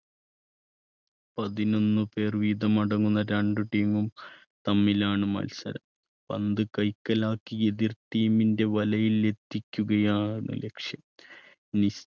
പതിനൊന്ന് പേർ വീതമടങ്ങുന്ന രണ്ട് team ഉം തമ്മിലാണ് മത്സരം പന്ത് കൈക്കലാക്കി എതിർ team ൻ്റെ വലയിൽ എത്തിക്കുകയാണ് ലക്ഷ്യം. നി~